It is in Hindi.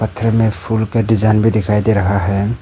पत्थर में फूल का डिजाइन भी दिखाई दे रहा है।